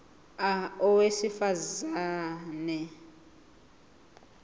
a owesifaz ane